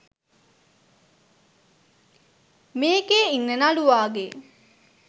මේකෙ ඉන්න නළුවාගේ